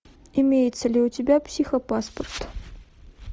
имеется ли у тебя психопаспорт